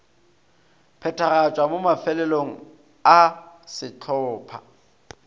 phethagatšwa mo mafelelong a sehlopha